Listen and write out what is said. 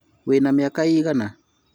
wĩ na miaka ĩigana ?